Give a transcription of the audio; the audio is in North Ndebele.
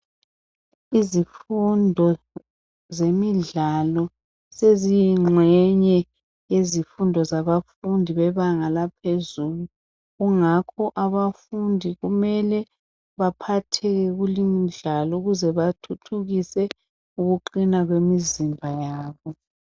Izifundo zemidlalo zeziyingxenye yabafundi bebanga laphezulu kungakho abafundi kumele baphatheke kuleyi imdlalo ukuze bathuthukise ukuqina kwemizimba yabo.